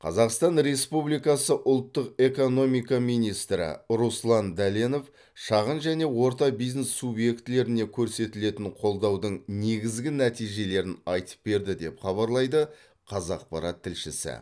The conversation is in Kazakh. қазақстан республикасы ұлттық экономика министрі руслан дәленов шағын және орта бизнес субъектілеріне көрсетілетін қолдаудың негізгі нәтижелерін айтып берді деп хабарлайды қазақпарат тілшісі